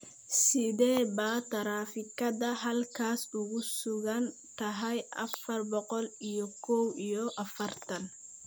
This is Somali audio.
Sidee baa taraafikada halkaas ku sugan tahay afar boqol iyo kow iyo afartan?